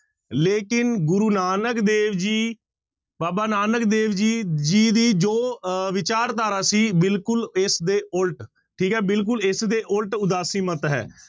ਲੇਕਿੰਨ ਗੁਰੂ ਨਾਨਕ ਦੇਵ ਜੀ, ਬਾਬਾ ਨਾਨਕ ਦੇਵ ਜੀ ਜੀ ਦੀ ਜੋ ਅਹ ਵਿਚਾਰਧਾਰਾ ਸੀ ਬਿਲਕੁਲ ਇਸਦੇ ਉਲਟ, ਠੀਕ ਹੈ ਬਿਲਕੁਲ ਇਸਦੇ ਉੱਲਟ ਉਦਾਸੀ ਮੱਤ ਹੈ।